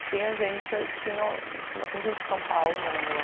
E tinha gente que não... Tinha bastante gente de São Paulo morando lá.